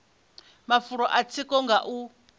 mafulo a tsiko nga u